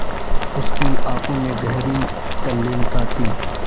उसकी आँखों में गहरी तल्लीनता थी